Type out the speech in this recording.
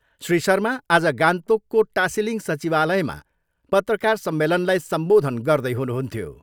श्री शर्मा आज गान्तोकको टासिलिङ सचिवालयमा पत्रकार सम्मेलनलाई सम्बोधन गर्दै हुनुहुन्थ्यो।